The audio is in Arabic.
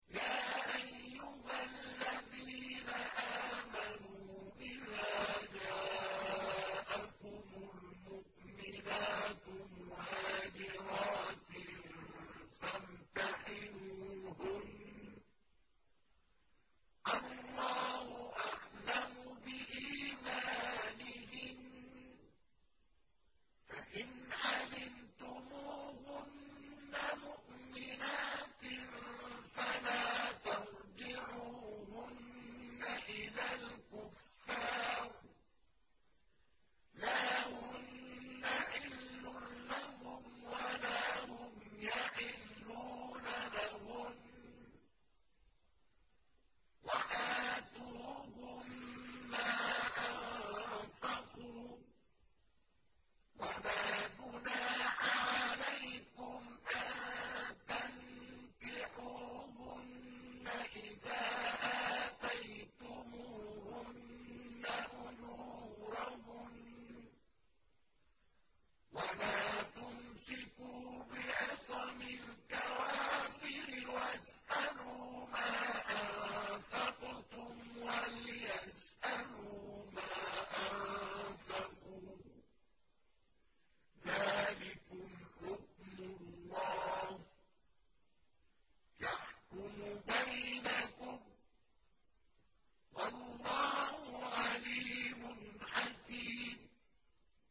يَا أَيُّهَا الَّذِينَ آمَنُوا إِذَا جَاءَكُمُ الْمُؤْمِنَاتُ مُهَاجِرَاتٍ فَامْتَحِنُوهُنَّ ۖ اللَّهُ أَعْلَمُ بِإِيمَانِهِنَّ ۖ فَإِنْ عَلِمْتُمُوهُنَّ مُؤْمِنَاتٍ فَلَا تَرْجِعُوهُنَّ إِلَى الْكُفَّارِ ۖ لَا هُنَّ حِلٌّ لَّهُمْ وَلَا هُمْ يَحِلُّونَ لَهُنَّ ۖ وَآتُوهُم مَّا أَنفَقُوا ۚ وَلَا جُنَاحَ عَلَيْكُمْ أَن تَنكِحُوهُنَّ إِذَا آتَيْتُمُوهُنَّ أُجُورَهُنَّ ۚ وَلَا تُمْسِكُوا بِعِصَمِ الْكَوَافِرِ وَاسْأَلُوا مَا أَنفَقْتُمْ وَلْيَسْأَلُوا مَا أَنفَقُوا ۚ ذَٰلِكُمْ حُكْمُ اللَّهِ ۖ يَحْكُمُ بَيْنَكُمْ ۚ وَاللَّهُ عَلِيمٌ حَكِيمٌ